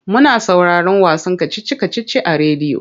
Muna sauraron wasan kacici-kacici a rediyo.